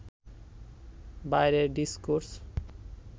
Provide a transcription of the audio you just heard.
বাইরের ডিসকোর্স